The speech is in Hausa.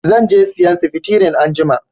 Zan je sayan sefitirin anjima